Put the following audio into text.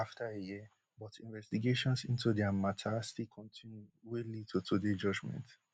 dem release dem afta a year but investigations into dia mata still kontinu wey lead to today judgement